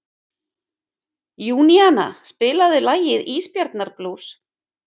Júníana, spilaðu lagið „Ísbjarnarblús“.